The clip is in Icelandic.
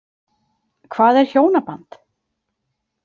Hvað er hjónaband?